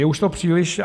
Je už to příliš.